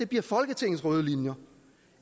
bliver folketingets røde linjer